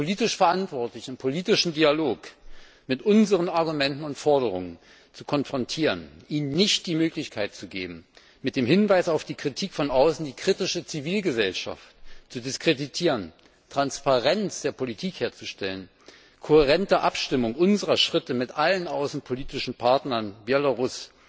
Die politisch Verantwortlichen im politischen Dialog mit unseren Argumenten und Forderungen zu konfrontieren, ihnen nicht die Möglichkeit zu geben, mit dem Hinweis auf die Kritik von außen die kritische Zivilgesellschaft zu diskreditieren, Transparenz der Politik herzustellen, kohärente Abstimmung unserer Schritte mit allen außenpolitischen Partnern in Belarus